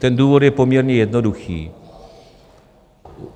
Ten důvod je poměrně jednoduchý.